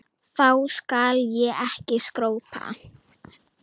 Þá skal ég ekki skrópa.